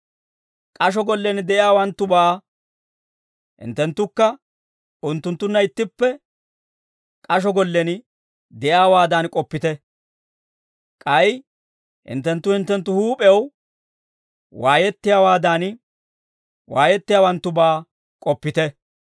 K'asho gollen de'iyaawanttubaa hinttenttukka unttunttunna ittippe k'asho gollen de'iyaawaadan k'oppite; k'ay hinttenttu hinttenttu huup'ew waayettiyaawaadan, waayettiyaawanttubaa k'oppite.